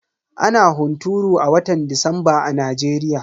Ana hunturu a watan disamba a Najeriya.